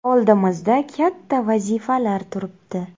Oldimizda katta vazifalar turibdi.